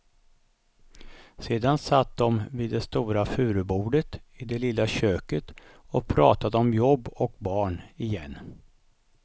Sedan satt de vid det stora furubordet i det lilla köket och pratade om jobb och barn, igen.